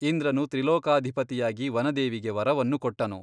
ಇಂದ್ರನು ತ್ರಿಲೋಕಾಧಿಪತಿಯಾಗಿ ವನದೇವಿಗೆ ವರವನ್ನು ಕೊಟ್ಟನು.